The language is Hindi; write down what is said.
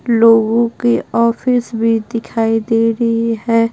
लोगों की ऑफिस भी दिखाई दे रही है।